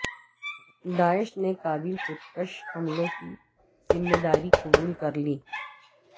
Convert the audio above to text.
داعش نے کابل خودکش حملوں کی ذمہ داری قبول کرلی